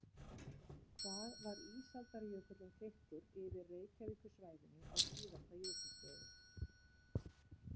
Hvað var ísaldarjökullinn þykkur yfir Reykjavíkursvæðinu á síðasta jökulskeiði?